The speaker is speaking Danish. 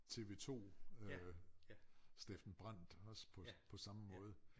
TV-2 øh Steffen Brandt også på på samme måde